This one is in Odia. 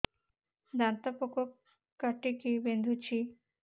ଦାନ୍ତ ପୋକ କାଟିକି ବିନ୍ଧୁଛି